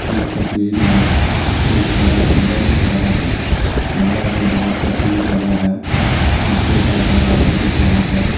इस तस्वीर में एक बड़ा कमरा दिख रहा है कमरा में बहुत तस्वीर लगा है शीशे का दरवाजा दिख रहा है।